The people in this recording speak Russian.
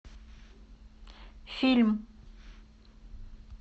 фильм